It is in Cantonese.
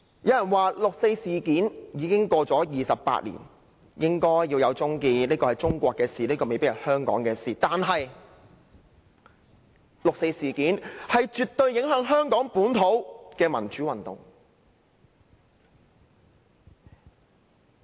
有人說，六四事件已過了28年，應該終結，這是中國的事，未必是香港的事，但六四事件絕對影響了香港本土的民主運動。